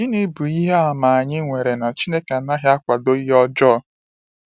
Gịnị bụ ihe àmà anyị nwere na Chineke anaghị akwado ihe ọjọọ?